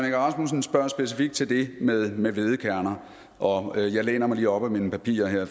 egge rasmussen spørger specifikt til det med med hvedekerner og jeg læner mig lige op ad mine papirer her